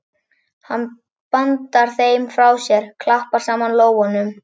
Hann bandar þeim frá sér, klappar saman lófunum.